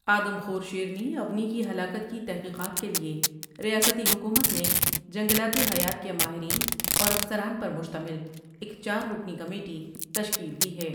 آدم خور شیرنی اونی کی ہلاکت کی تحقیقات کے لئے ریاستی حکومت نے جنگلاتی حیات کے ماہرین اور افسران پر مشتمل ایک چار رکنی کمیٹی تشکیل دی ہے ۔